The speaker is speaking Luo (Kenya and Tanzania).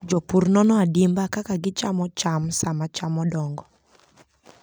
Jopur nono adimba kaka gichamo cham sama cham odongo.